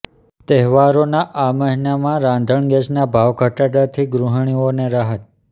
તહેવારોના આ મહિનામાં રાંધણ ગેસના ભાવ ઘટાડાથી ગૃહિણીઓને રાહત